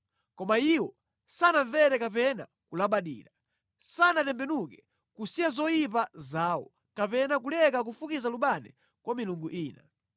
Koma iwo sanamvere kapena kulabadira; sanatembenuke kusiya zoyipa zawo kapena kuleka kufukiza lubani kwa milungu ina.